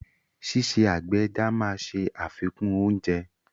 Ṣíṣe àgbẹ̀ ẹja máa ṣe àfikún oúnjẹ.